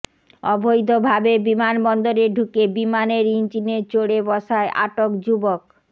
অবৈধ ভাবে বিমানবন্দরে ঢুকে বিমানের ইঞ্জিনে চড়ে বসায় আটক যুবক